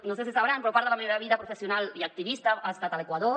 no sé si ho saben però part de la meva vida professional i activista ha estat a l’equador